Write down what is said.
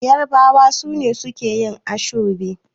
yarabawa sune suke yi ashobe